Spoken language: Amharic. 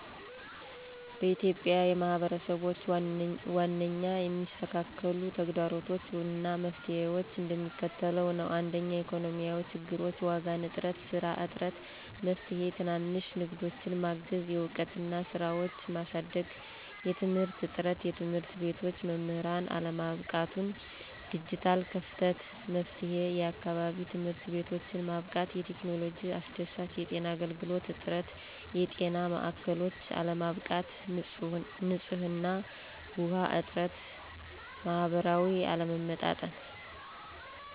በኢትዮጵያ የማህበረሰብች ዋናኛ የሚስተካከሉ ተግደሮቶች አና መፍትሔዎች እንደሚከተለው ነዉ። 1 ኢኮኖሚያዊ ችግሮች ዋጋ፣ ንጥረ፣ ሰራ እጥረት። መፍትሔ፦ ትናንሽ ንግዳችን ማገዝ፣ የዕውቀትና ስራዎችን ማሳደግ። የትምህርት እጥረት የትምህርትቤቶች/መምህራን አለማብቃቱን፣ ዲጀታል ከፍተታ። መፍትሔ፦ የአካባቢ ትምህርትቤቶችን ማብቃት፣ የቴክኖሎጂ አስደሳች። የጤና አገልግሎት እጥረት የጤና ማእከሎች አለማብቃት፣ ንጽህና ዉኃ እጥረት። ማሀበራዊ አለመመጣጠን